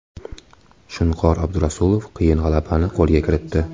Shunqor Abdurasulov qiyin g‘alabani qo‘lga kiritdi.